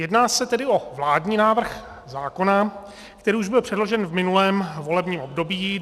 Jedná se tedy o vládní návrh zákona, který už byl předložen v minulém volebním období.